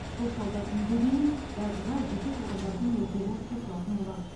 қоршаудан үйге дейін газға жеке тұрғындардың өздері қосылатын болады